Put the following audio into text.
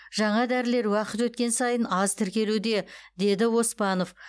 жаңа дәрілер уақыт өткен сайын аз тіркелуде деді оспанов